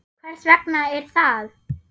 Hvers vegna er það?